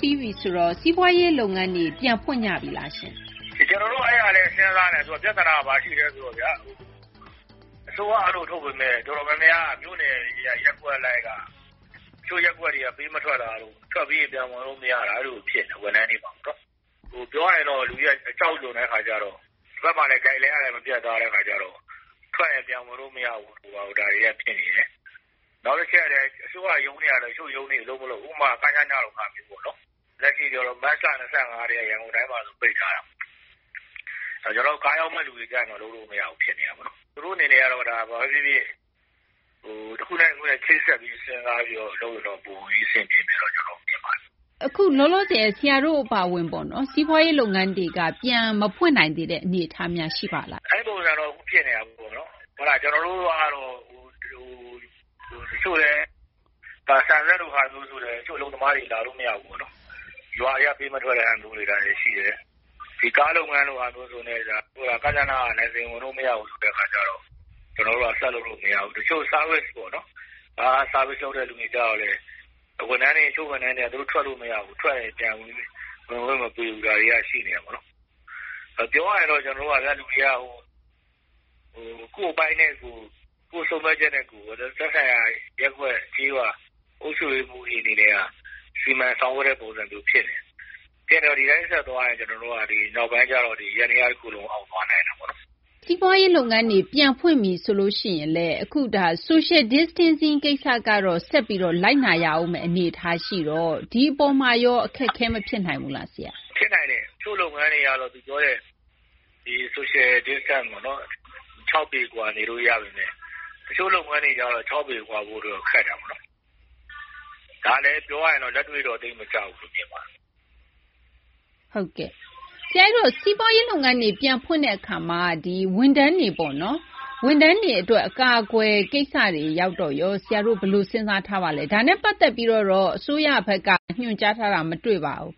ပြီးပြီ ဆိုတော့ စီးပွားရေး လုပ်ငန်းတွေ ပြန်ဖွင့်ကြပြီလားရှင့်။ ကျနော်တို့ အဲဒါလည်း စဉ်းစားနေတာ။ ပြသနာက ဘာရှိလဲ ဆိုတော့ အစိုးရက အဲလို ထုတ်ပေမယ့် အတော်များများ မြို့နယ်တွေက ရပ်ကွက်လိုက်က တချို့ ရပ်ကွက်တွေက ပေး မထွက်တာတို့၊ ထွက်ပြီးရင် ပြန်ဝင်လို့ မရတာတို့ အဲလို ဖြစ်နေတာ။ ဝန်ထမ်းတွေမှာပေါ့နော်။ ပြောရရင်တော့ လူတွေက အကြောက်လွန်တဲ့ အခါကျတော့ ဒီဘက်မှာလည်း Guideline ကလည်း မပြတ်သားတဲ့ အခါကျတော့ ထွက်ရင် ပြန်ဝင်လို့ မရဘူးတို့ ဘာတို့ ဒါတွေက ဖြစ်နေတယ်။ နောက်တချက်က အစိုးရ ရုံးတွေကလည်း တချို့ရုံးတွေ အလုပ်မလုပ်ဘူး။ ဥပမာ ကညန လို ဟာမျိုးပေါ့နော်။ လက်ရှိဆို မတ်လ ၂၅ ကတည်းက ရန်ကုန်တိုင်းမှာ ပိတ်ထားတာ။ ကျနော်တို့ ကားရောင်းတဲ့ လူတွေကျ လုပ်လို့ မရဘူး ဖြစ်နေတာပေါ့နော်။ သူတို့ အနေနဲ့ တခုနဲ့ တခု ချိတ်ဆက်ပြီး စဉ်းစားပြီး လုပ်ရင်တော့ ပိုပြီးတော့ အဆင်ပြေမယ်လို့ ကျနော်တို့ ထင်ပါတယ်။ အခု လောလောဆယ် ဆရာတို့ အပါအဝင် စီးပွားရေး လုပ်ငန်းတွေက ပြန်မဖွင့်နိုင်သေးတဲ့ အနေအထားများ ရှိပါလား။ အဲဒီ ပုံစံတော့ အခု ဖြစ်နေတာပေါ့နော်။ ကျနော်တို့ကတော့ တချို့လည်း ဆန်စက်လို ဟာမျိုးဆိုလည်း တချို့ အလုပ်သမားတွေ လာလို့ မရဘူးပေါ့နော်။ ရွာထဲက ပေးမထွက်တာမျိုး ရှိတယ်။ ကားလုပ်ငန်းဆိုလည်း ကညနက လိုင်စင်ဝင်လို့ မရဘူးဆိုတဲ့ အခါကျတော့ ကျနော်တို့က ဆက်လုပ်လို့ မရဘူး။ တချို့ Service လုပ်တဲ့လူတွေကျတော့လည်း တချို့ ဝန်ထမ်းတွေက သူတို့ ထွက်လို့ မရဘူး။ ထွက်ရင် ပြန်ဝင်ခွင့် မပေးဘူး။ ဒါတွေက ရှိနေတာပေါ့နော်။ ပြောရရင်တော့ လူတွေက ကိုယ့်အပိုင်းနဲ့ကိုယ်၊ ကိုယ့်ဆုံးဖြတ်ချက်နဲ့ကိုယ် သက်ဆိုင်ရာ ရပ်ကွက် ကျေးရွာ အုပ်ချုပ်ရေးမှူးတွေ အနေနဲ့က စီမံဆောင်ရွက်တဲ့ ပုံစံမျိုး ဖြစ်နေတယ်။ ဖြစ်နေတော့ ဒီတိုင်း ဆက်သွားရင် ကျနော်တို့က ဒီ နောက်ပိုင်းရောက်ရင် ယန္တရား တခုလုံး အောက်သွားနိုင်တာပေါ့နော်။ စီးပွားရေး လုပ်ငန်းတွေ ပြန်ဖွင့်ပြီ ဆိုရင်လည်း အခုက Social Distancing ကိစ္စကတော့ ဆက်ပြီး လိုက်နာရမယ့် အနေအထား ရှိတော့ ဒီအပေါ်မှာရော အခက်အခဲ မဖြစ်နိုင်ဘူးလား။ ဖြစ်နိုင်တယ်။ တချို့ လုပ်ငန်းတွေက ပြောတဲ့ Social Distance - ၆ ပေကွာ နေလို့ ရပေမယ့် တချို့ကျ ၆ ပေကွာဖို့ ခက်တာပေါ့နော်။ ဒါလည်း ပြောရရင်တော့ လက်တွေ့တော့ သိပ်မကျဘူးလို့ မြင်ပါတယ်။ ဟုတ်ကဲ့။ ဆရာ အဲဒီတော့ စီးပွားရေး လုပ်ငန်းတွေ ပြန်ဖွင့်တဲ့ အခါမှာ ဝန်ထမ်းတွေ အတွက် အကာအကွယ် ကိစ္စတွေ ရောက်တော့ရော ဆရာတို့ ဘယ်လို စဉ်းစား ထားပါလဲ။ ဒါနဲ့ ပတ်သက်ပြီးတော့ တော့ အစိုးရဘက်က ညွှန်ကြားထားတာ မတွေ့ပါဘူး။